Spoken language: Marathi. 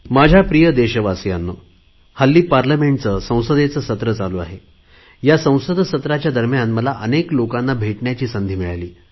माझ्या प्रिय देशवासियांनो सध्या संसदेचे सत्र चालू आहे त्या संसद सत्राच्या दरम्यान मला अनेक लोकांना भेटण्याची संधी मिळाली